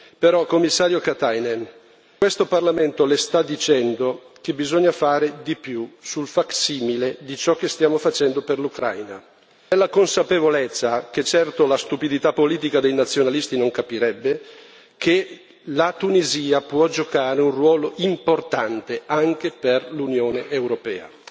Però, Commissario Katainen, questo Parlamento le sta dicendo che bisogna fare di più sul facsimile di ciò che stiamo facendo per l'Ucraina, nella consapevolezza che certo la stupidità politica dei nazionalisti non capirebbe che la Tunisia può giocare un ruolo importante anche per l'Unione europea.